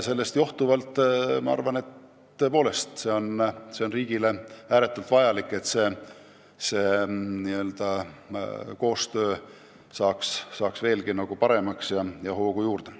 Sellest johtuvalt ma arvan, et riigile on tõepoolest ääretult vajalik, et see koostöö muutuks veelgi paremaks ja saaks hoogu juurde.